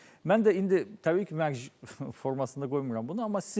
Mən də indi təbii ki, mərc formasında qoymuram bunu,